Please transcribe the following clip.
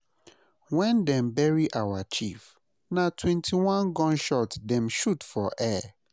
Wen dem bury our chief, na twenty-one gun shots dem shoot for air.